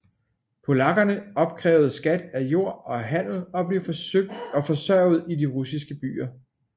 Polakkerne opkrævede skat af jord og handel og blev forsørget i de russiske byer